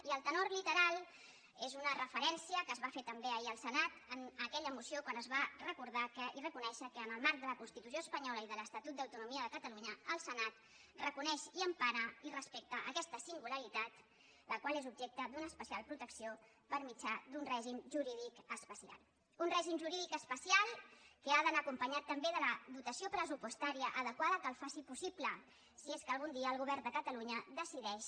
i el tenor literal és una referència que es va fer també ahir al senat en aquella moció quan es va recordar i reconèixer que en el marc de la constitució espanyola i de l’estatut d’autonomia de catalunya el senat reconeix i empara i respecta aquesta singularitat la qual és objecte d’una especial protecció per mitjà d’un règim jurídic especial un règim jurídic especial que ha d’anar acompanyat també de la dotació pressupostària adequada que el faci possible si és que algun dia el govern de catalunya decideix